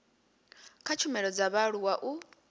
kha tshumelo dza vhaaluwa u